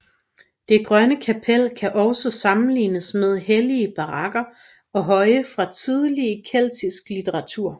Det Grønne Kapel kan også sammenlignes med hellige bakker og høje fra tidlig keltisk litteratur